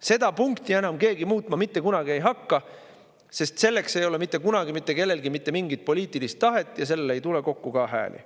Seda punkti enam keegi muutma mitte kunagi ei hakka, sest selleks ei ole mitte kunagi mitte kellelgi mitte mingit poliitilist tahet ja selle jaoks ei tule kokku ka hääli.